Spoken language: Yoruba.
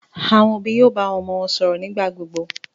Àwọn òbí yóò bá àwọn ọmọ wọn sọ̀rọ̀ nígbà gbogbo.